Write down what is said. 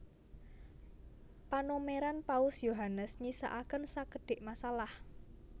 Panomeran Paus Yohanes nyisakaken sakedhik masalah